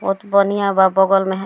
बहोत बनिहां बा बगल में हे --